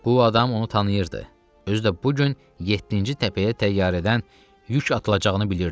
Bu adam onu tanıyırdı, özü də bu gün yeddinci təpəyə təyyarədən yük atılacağını bilirdi.